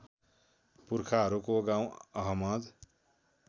पुर्खाहरूको गाउँ अहमद